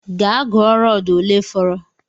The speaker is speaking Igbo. Gaa gụọ rọdu olee fọrọ!